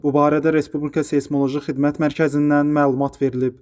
Bu barədə Respublika Seysmoloji Xidmət Mərkəzindən məlumat verilib.